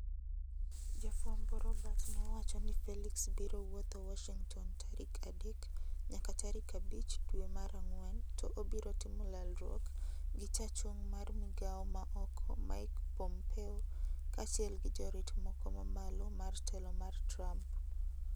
Jafwambo Robert ne owacho ni Felix biro woutho Warshington tarik adek nyaka tarik abich dwe mar ang'wen to obiro timo lalruok gi chachung mar migawo ma oko Mike Pompeo kaachiel gi jorit moko mamalo mar telo mar Trump.